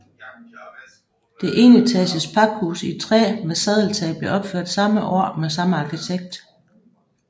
Det enetages pakhus i træ med sadeltag blev opført samme år og med samme arkitekt